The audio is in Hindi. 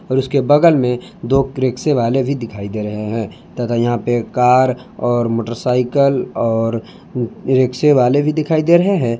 और उसके बगल में दो रिक्शे वाले भी दिखाई दे रहे हैं तथा यहां पर कार और मोटरसाइकिल और रिक्शे वाले भी दिखाई दे रहे हैं।